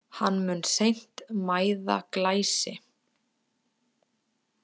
Hann mun seint mæða Glæsi.